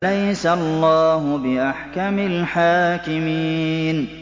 أَلَيْسَ اللَّهُ بِأَحْكَمِ الْحَاكِمِينَ